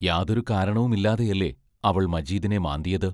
യാതൊരു കാരണവുമില്ലാതെയല്ലേ അവൾ മജീദിനെ മാന്തിയത്?